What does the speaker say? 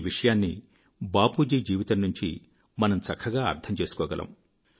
ఈ విషయాన్ని బాపూజీ జీవితం నుంచి మనం చక్కగా అర్థం చేసుకోగలము